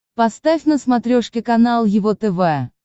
поставь на смотрешке канал его тв